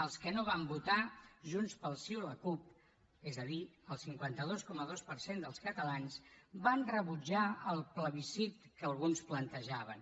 els que no van votar junts pel sí o la cup és a dir el cinquanta dos coma dos per cent dels catalans van rebutjar el plebiscit que alguns plantejaven